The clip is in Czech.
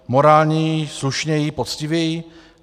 Morálněji, slušněji, poctivěji?